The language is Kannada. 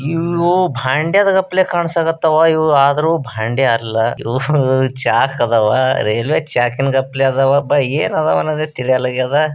ಇವವೋ ಬಂಡೆದ್ದ ಗಟ್ಲೆ ಕಾನ್ಸಾಕತ್ತಾವ ಇವ್ ಆದರು ಭಾಂಡೆ ಅಲ್ಲಾ. ಇವ್ವು ಚಾಕ್ ಅದಾವ. ರೈಲ್ವೆ ಚಾಕಿನ್ಗಟ್ಲೆ ಅದಾವ ಭೈ ಏನ್ ಅದಾವ್ ಅನ್ನೋದೇ ತಿಳಿಯೋಲ್ಲದಾಗ್ಯದ.